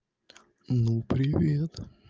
ну привет